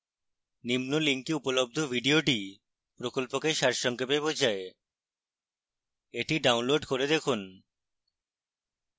নিম্ন link উপলব্ধ video প্রকল্পকে সারসংক্ষেপ বোঝায়